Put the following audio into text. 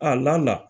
A la na